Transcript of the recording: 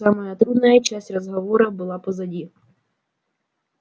самая трудная часть разговора была позади